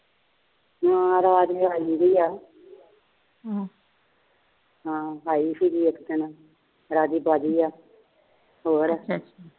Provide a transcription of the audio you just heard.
ਹਾ ਰਾਜ ਆਈ ਵੀ ਆ ਹਮ ਹਾ ਆਈ ਸੀਗੀ ਇੱਕ ਦਿਨ ਰਾਜੀ ਬਾਜੀ ਆ ਹੋਰ